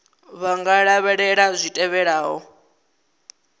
vha nga lavhelela zwi tevhelaho